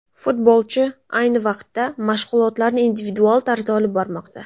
Futbolchi ayni vaqtda mashg‘ulotlarni individual tarzda olib bormoqda.